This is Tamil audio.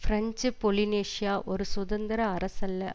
பிரெஞ்சு பொலினேஷியா ஒரு சுதந்திர அரசல்ல